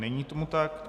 Není tomu tak.